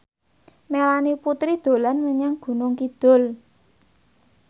Melanie Putri dolan menyang Gunung Kidul